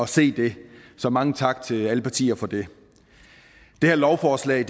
se det så mange tak til alle partier for det det her lovforslag